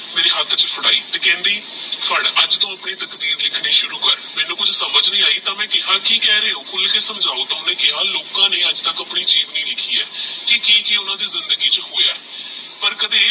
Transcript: ਮੇਰੀ ਹੱਥ ਚ ਫੜਾਈ ਤੇਹ ਕੇਹ੍ਨ੍ਦੀ ਫੜ ਅਜੇ ਤੂ ਆਪਣੀ ਤਕਦੀਰ ਲਿਖਣੀ ਸ਼ੁਰੂ ਕਰ ਮੈਨੂ ਸਮਝ ਨਹੀ ਆਯੀ ਤੇਹ ਕੇਹਾ ਕੀ ਕਹ ਰੇ ਹੋ ਖੁਲ ਕੇ ਸਮਝੋ ਓਹਨੇ ਕੇਹਾ ਲੋਕਾ ਨੇ ਅਜੇ ਤਕ ਆਪਣੀ ਜੀਵਨੀਲਿਖੀ ਆਹ ਤੇਹ ਕੀ ਕੀ ਓਹ੍ਨ੍ਦਾ ਦੀ ਜ਼ਿੰਦਗੀ ਚ ਹੋਯਾ ਆਹ ਪਰ ਕਦੀ ਇਹ